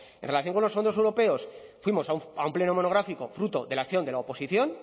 en relación con los fondos europeos fuimos a un pleno monográfico fruto de la acción de la oposición